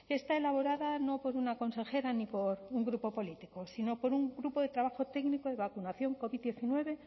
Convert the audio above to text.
está elaborada no por una consejera ni por un grupo político sino por un grupo de trabajo técnico de vacunación covid diecinueve